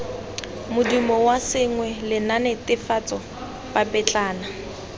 modumo wa sengwe lenaanenetefatso papetlana